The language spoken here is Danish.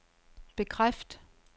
bekræft